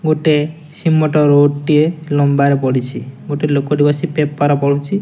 ଗୋଟେ cement road ଟିଏ ଲମ୍ବାରେ ପଡ଼ିଛି। ଗୋଟେ ଲୋକଟେ ବସି ପେପର ପଡ଼ୁଚି।